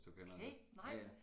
Okay nej